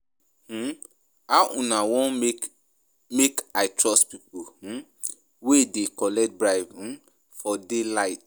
um How una wan make make I trust pipo um wey dey collect bribe um for day-light?